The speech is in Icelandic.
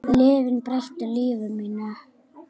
Lyfin breyttu lífi mínu.